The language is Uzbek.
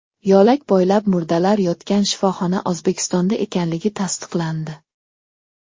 Yo‘lak bo‘ylab murdalar yotgan shifoxona O‘zbekistonda ekanligi tasdiqlandi.